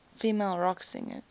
female rock singers